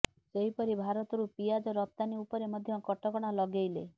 ସେହିପରି ଭାରତରୁ ପିଆଜ ରପ୍ତାନୀ ଉପରେ ମଧ୍ୟ କଟକଣା ଲଗେଇଲେ